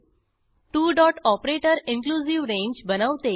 two dot operator inclusive range बनवते